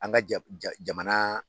An ka ja ja jamana